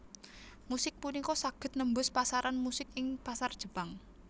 Musik punika saged nembus pasaran musuk ing pasar Jepang